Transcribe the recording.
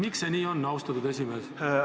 Miks see nii on, austatud esimees?